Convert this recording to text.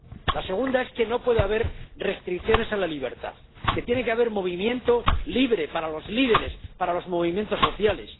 La segunda es que no puede haber restricciones a la libertad, que tiene que haber movimiento libre para los líderes, para los movimientos sociales.